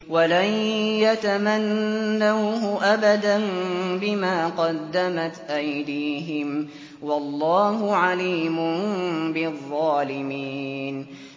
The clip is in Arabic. وَلَن يَتَمَنَّوْهُ أَبَدًا بِمَا قَدَّمَتْ أَيْدِيهِمْ ۗ وَاللَّهُ عَلِيمٌ بِالظَّالِمِينَ